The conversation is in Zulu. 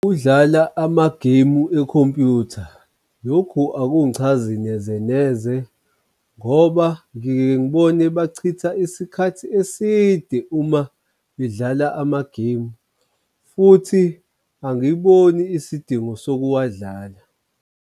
Ukudlala amagemu ekhompuyutha. Lokho akungichazi neze neze ngoba ngiyengibone bachitha isikhathi eside uma bedlala amagemu futhi angiyiboni isidingo sokuwadlala.